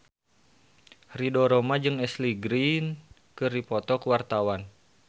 Ridho Roma jeung Ashley Greene keur dipoto ku wartawan